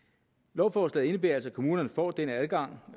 lovforslaget indebærer altså at kommunerne får den adgang